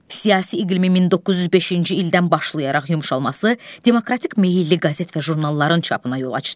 Siyasi iqlimin 1905-ci ildən başlayaraq yumşalması demokratik meylli qəzet və jurnalların çapına yol açdı.